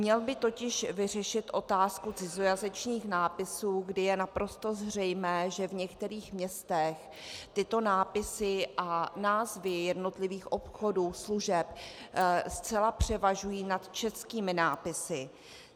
Měl by totiž vyřešit otázku cizojazyčných nápisů, kdy je naprosto zřejmé, že v některých městech tyto nápisy a názvy jednotlivých obchodů, služeb zcela převažují nad českými nápisy.